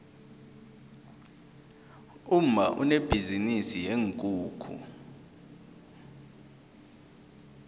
umma unebhizinisi yeenkukhu